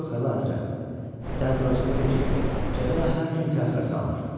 Yox Əlahəzrət, dərd orasındadır ki, cəza hər gün təxirə salınır.